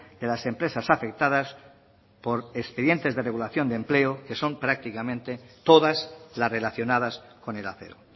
de las empresas afectadas por expedientes de regulación de empleo que son prácticamente todas las relacionadas con el acero